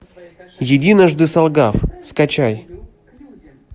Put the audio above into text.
единожды солгав скачай